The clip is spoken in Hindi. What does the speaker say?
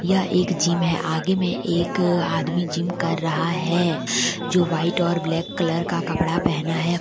यह एक जिम है आगे में एक आदमी जिम कर रहा है जो व्हाईट और ब्लैक कलर का कपड़ा पहना है।